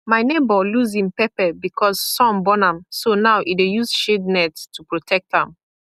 my neighbour lose him pepper because sun burn am so now e dey use shade net to protect am